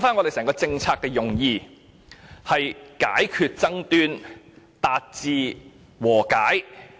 回想一下政策的用意，是為解決爭端，達至和解。